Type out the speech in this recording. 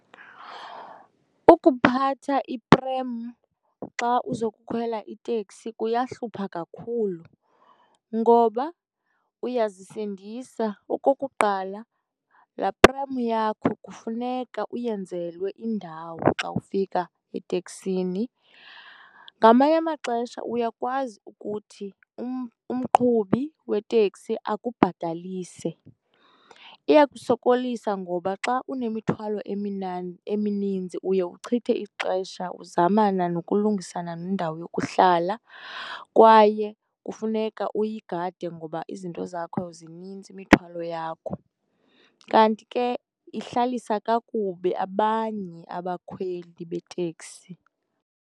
Ukuphatha i-pram xa uzokukhwela iteksi kuyahlupha kakhulu ngoba uyazisindisa. Okokuqala laa pram yakho kufuneka uyenzelwe indawo xa ufika eteksini. Ngamanye amaxesha uyakwazi ukuthi umqhubi weteksi akubhatalise. Iyakusokolisa ngoba xa unemithwalo emininzi uye uchithe ixesha uzamana nokulungisana nendawo yokuhlala kwaye kufuneka uyigade ngoba izinto zakho zininzi, imithwalo yakho. Kanti ke ihlalisa kakubi abanye abakhweli beteksi.